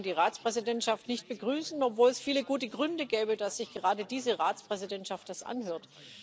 Leider kann man die Ratspräsidentschaft nicht begrüßen, obwohl es viele gute Gründe gäbe, dass sich gerade diese Ratspräsidentschaft das anhört.